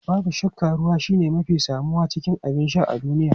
Babu shakka ruwa shine mafi samuwa cikin abin sha a duniya.